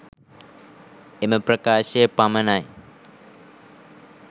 එම ප්‍රකාශය පමණයි.